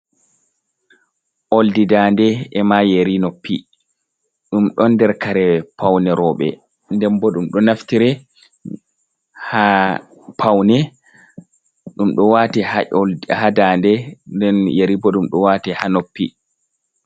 Ooldi daande e maa yeri noppi, ɗum ɗon nder kare pawne rowbe. Nden bo ɗum ɗo naftire ha pawne, ɗum ɗo waate ha ƴol, ha daande. Nden yeri bo ɗum ɗo waate ha noppi.